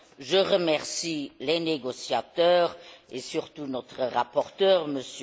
Je remercie les négociateurs et, surtout, notre rapporteur, M.